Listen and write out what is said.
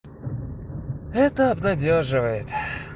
это обнадёживает